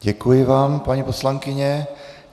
Děkuji vám, paní poslankyně.